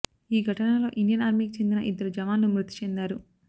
ఈ ఘటనలో ఇండియన్ ఆర్మీకి చెందిన ఇద్దరు జవాన్లు మృతి చెందారు